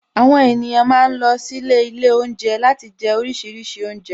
Àwon èniyàn ma ń lọ sílé Ilé oúnjẹ láti jẹ oríṣiríṣi oúnjẹ